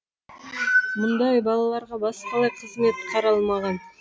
мұндай балаларға басқалай қызмет қаралмаған